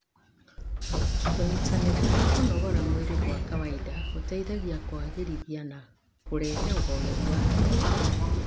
Kũnyitanĩra harĩ kũnogora mwĩrĩ gwa kawaida gũteithagia kũagĩrithia na kũrehe ũhoreri wa hakiri.